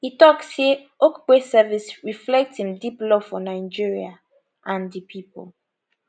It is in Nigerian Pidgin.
e tok say okupe service reflect im deep love for nigeria and di pipo